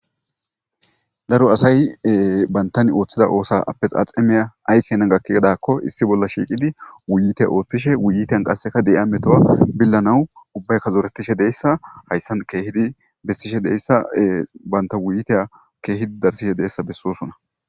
Daro asay bantan ooththida oosa appes axemeya aykena gakki gedakko issi bolla shiiqidi wuyite ooththishe wuyiteyan qasseka de'iya metowa billanawu ubbaykka zoretishe deyssa hayssan keehidi bessishe deyssa banta wuyitey keehidi darsishe deessa bessosona